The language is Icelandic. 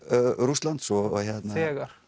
Rússlands þegar